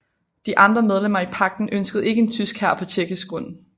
De andre medlemmer i pagten ønskede ikke en tysk hær på tjekkisk grund